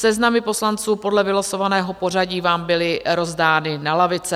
Seznamy poslanců podle vylosovaného pořadí vám byly rozdány na lavice.